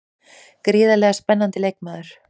Gríðarlega spennandi leikmaður.